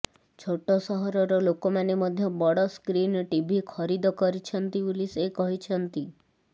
ଛୋଟ ସହରର ଲୋକମାନେ ମଧ୍ୟ ବଡ଼ ସ୍କ୍ରିନ୍ ଟିଭି ଖରିଦ କରିଛନ୍ତି ବୋଲି ସେ କହିଛନ୍ତି